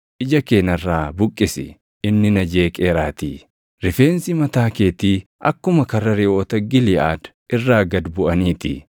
Ija kee narraa buqqisi; inni na jeeqeeraatii. Rifeensi mataa keetii akkuma karra reʼoota Giliʼaad irraa gad buʼanii ti.